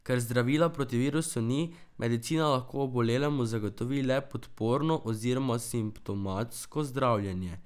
Ker zdravila proti virusu ni, medicina lahko obolelemu zagotovi le podporno oziroma simptomatsko zdravljenje.